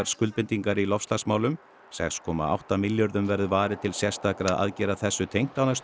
skuldbindingar í loftslagsmálum sex komma átta milljörðum verður varið til sérstakra aðgerða þessu tengt á næstu